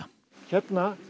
hérna